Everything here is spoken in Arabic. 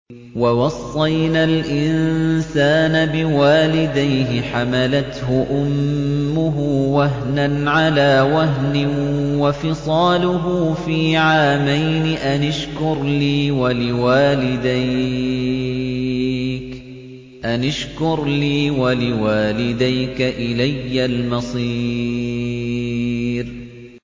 وَوَصَّيْنَا الْإِنسَانَ بِوَالِدَيْهِ حَمَلَتْهُ أُمُّهُ وَهْنًا عَلَىٰ وَهْنٍ وَفِصَالُهُ فِي عَامَيْنِ أَنِ اشْكُرْ لِي وَلِوَالِدَيْكَ إِلَيَّ الْمَصِيرُ